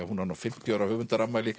hún á nú fimmtíu ára